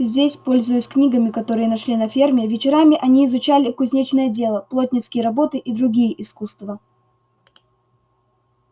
здесь пользуясь книгами которые нашли на ферме вечерами они изучали кузнечное дело плотницкие работы и другие искусства